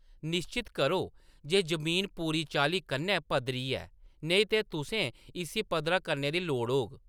निश्चत करो जे जमीन पूरी चाल्ली कन्नै पद्धरी ऐ, नेईं ते तुसें इस्सी पद्धरा करने दी लोड़ होग।